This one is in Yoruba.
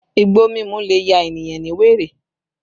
Igbo mímú le ya ènìyàn ní wèrè